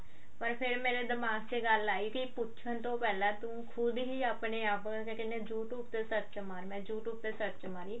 ਪਰ ਫੇਰ ਮੇਰੇ ਦਿਮਾਗ ਚ ਇਹ ਗੱਲ ਆਈ ਕਿ ਪੁੱਛਣ ਤੋਂ ਪਹਿਲਾਂ ਤੂੰ ਖੁਦ ਹੀ ਆਪਣੇ ਆਪ ਮੈਂ ਕਹਿੰਦੀ ਆ you tube ਤੇ search ਮਾਰ ਮੈਂ you tube ਤੇ search ਮਾਰੀ